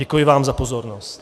Děkuji vám za pozornost.